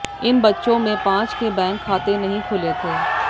इन बच्चों में पांच के बैंक खाते नहीं खुले थे